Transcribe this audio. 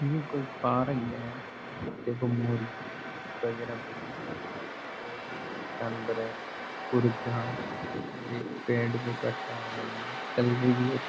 ये कोई पार्क है यहां देखो मुर्गी वगैरा बैठी है पास में और भी कोई जानवर है कुर्जा और एक पेड़ को काटा हुआ है कलर भी --